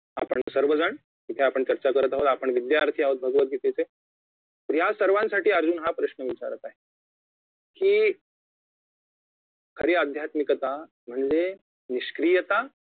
आपण सर्वजण इथे आपण चर्चा करत आहोत आपण विध्यार्थी आहोत भगवतगीतेचे यासर्वांसाठी अर्जुन हा प्रश्न विचारत आहे की खरी अध्यात्मिकता म्हणजे निष्क्रियता